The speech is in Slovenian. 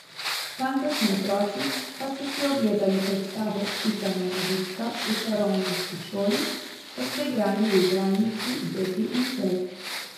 Tamkajšnji otroci pa so si ogledali predstavo Pika Nogavička v čarovniški šoli ter se igrali v igralnici Beti in Cej.